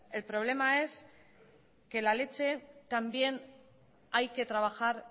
el problema es que la leche también hay que trabajar